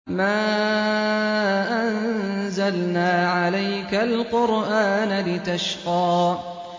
مَا أَنزَلْنَا عَلَيْكَ الْقُرْآنَ لِتَشْقَىٰ